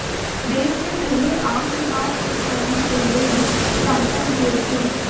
देश के पहले आम चुनाव कुछ महीने पहले ही संपन्न हुए थे